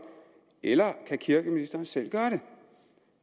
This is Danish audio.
eller kan kirkeministeren selv gøre det